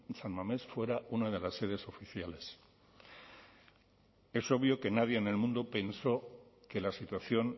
san mamés fuera una de las sedes oficiales es obvio que nadie en el mundo pensó que la situación